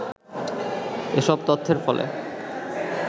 এসব তথ্যের ফলে